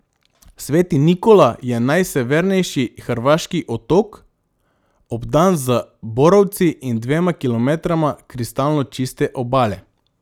Sveti Nikola je najsevernejši hrvaški otok, obdan z borovci in dvema kilometroma kristalno čiste obale.